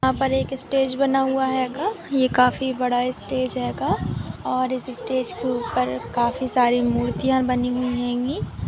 यहाँ पर एक इस्टेज बना हेगा यह काफी बड़ा इस्टेज हेगा और इस इस्टेज के उपर काफी सारी मुर्तिया बनी हुई --